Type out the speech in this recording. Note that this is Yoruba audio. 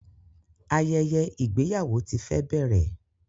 Ayẹyẹ igbeyawo ti fẹrẹ bẹrẹ